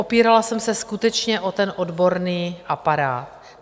Opírala jsem se skutečně o ten odborný aparát.